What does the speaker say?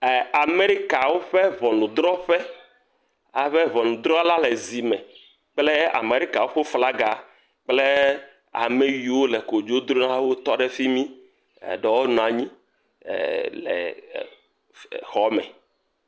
Amɛrikawo ƒe ŋɔnudrɔƒe abe ŋɔnudrɔla le zi me kple Amɛrikawo ƒe flaga kple ame yiwo le kodzodolawo tɔ ɖe fi mi, eɖewo nɔ anyi le xɔ me.